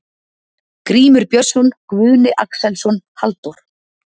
Grímur Björnsson, Guðni Axelsson, Halldór